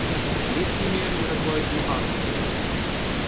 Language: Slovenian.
Lep primer je razvoj lubadarja pri nas.